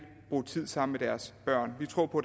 bruge tid sammen med deres børn vi tror på